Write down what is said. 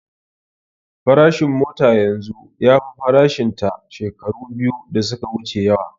Farashin mota yanzu ya fi farashin ta shekaru biyu da su ka wuce yawa